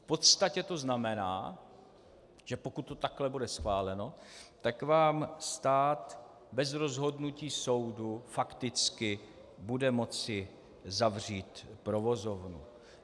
V podstatě to znamená, že pokud to takhle bude schváleno, tak vám stát bez rozhodnutí soudu fakticky bude moci zavřít provozovnu.